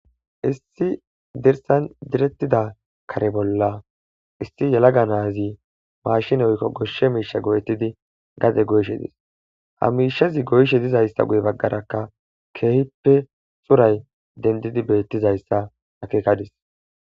Issi dirsan dire bolla issi yelaga naazi maashine woykko goshshe miishshe go7ettidi gade goyishe dees. Ha miishshazi goyishe dizayssi guye baggarakka keehippe coray dendidi beettizayssa akeekadis.